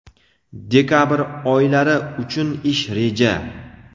dekabr oylari uchun ish reja.